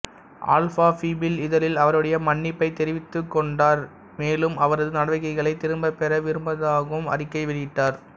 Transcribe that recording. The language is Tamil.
ஆல்பா பீப்பிள் இதழில் அவருடைய மன்னிப்பை தெரிவித்துக் கோண்டார் மேலும் அவரது நடவடிக்கைகளை திரும்பப்பெற விரும்புவதாகவும் அறிக்கை வெளியிட்டார்